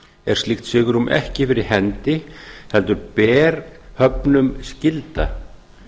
er slíkt svigrúm ekki fyrir hendi heldur ber höfnum skylda